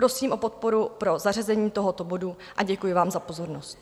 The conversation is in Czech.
Prosím o podporu pro zařazení tohoto bodu a děkuji vám za pozornost.